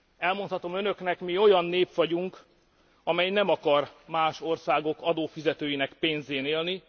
Elmondhatom Önöknek, mi olyan nép vagyunk, amely nem akar más országok adófizetőinek pénzén élni.